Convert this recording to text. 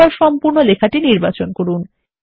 এবার সম্পূর্ণ লেখাটি নির্বাচন করুন